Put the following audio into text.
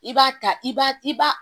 I b'a ta i b'a i ba